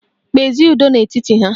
Kpezie ụdọ n'etiti ha!